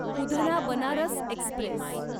Udhna Banaras Express